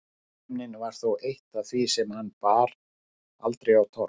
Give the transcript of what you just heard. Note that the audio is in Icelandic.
Viðkvæmnin var þó eitt af því sem hann bar aldrei á torg.